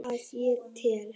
Að ég tel.